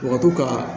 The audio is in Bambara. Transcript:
U ka to ka